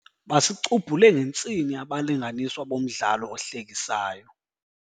Basicubhule ngentsini abalinganiswa bomdlalo ohlekisayo.